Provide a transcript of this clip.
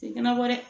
Tɛ kana bɔ dɛ